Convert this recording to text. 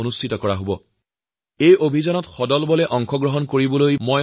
আপোনালোকৰ প্ৰতি মোৰ অনুৰোধ এই যে এই ৰাষ্ট্ৰীয় অভিযানত সকলোৱে স্বতঃস্ফূৰ্তভাবে অংশ লওঁক